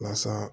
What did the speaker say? Mansa